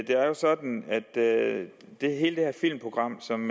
jo sådan at hele det filmprogram som